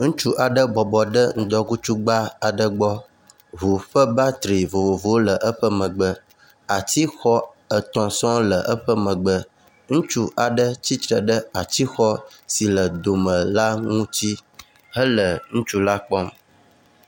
Ŋutsu aɖe bɔbɔ ɖe ŋdɔkutsugba aɖe gbɔ, ŋu ƒe battery vovovowo le eƒe megbe. Atixɔ etɔ̃ sɔŋ le eƒe megbe. Ŋutsu aɖe tsitre ɖe atixɔ si le dome la ŋu ŋuti hele ŋutsu la kpɔm.